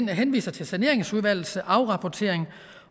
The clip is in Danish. henviser til saneringsudvalgets afrapportering